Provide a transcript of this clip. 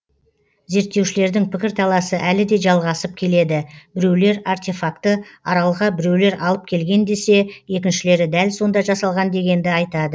зерттеушілердің пікірталасы әлі де жалғасып келеді біреулер артефакты аралға біреулер алып келген десе екіншілері дәл сонда жасалған дегенді айтады